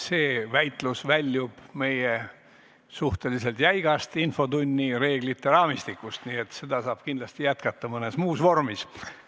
See väitlus väljub meie suhteliselt jäigast infotunnireeglite raamistikust, nii et seda saab kindlasti jätkata mõnes muus vormis.